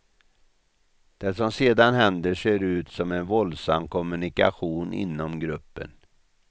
Det som sedan händer ser ut som en våldsam kommunikation inom gruppen.